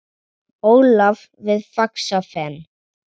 Ólaf við Faxafen.